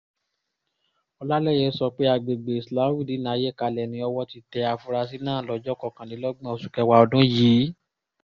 ọ̀làlẹyé sọ pé àgbègbè islahudeenayékalẹ̀ ni owó ti tẹ àfúrásì náà lọ́jọ́ kọkànlélọ́gbọ̀n oṣù kẹwàá ọdún yìí